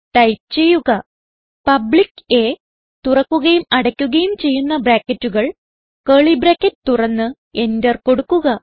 type ചെയ്യുക public A തുറക്കുകയും അടക്കുകയും ചെയ്യുന്ന ബ്രാക്കറ്റുകൾ കർലി ബ്രാക്കറ്റ് തുറന്ന് എന്റർ കൊടുക്കുക